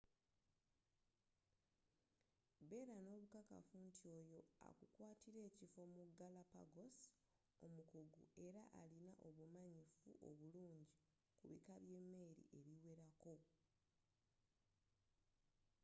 beera n'obukakafu nti oyo akukwaatira ekifo mu galapagos omukugu era alina obumanyifu obulungi ku bika by'emmeeri ebiwerako